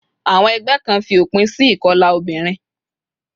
Àwon egbé Kan fi òpin si ìkolà obìnrin